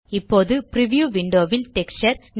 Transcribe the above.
இப்போது preview window ல் texture